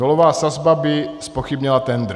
Nulová sazba by zpochybnila tendr."